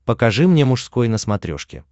покажи мне мужской на смотрешке